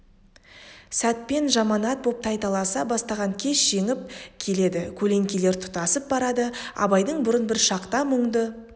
сәтпен жаманат боп тайталаса бастаған кеш жеңіп келеді көлеңкелер тұтасып барады абайдың бұрын бір шақта мұңды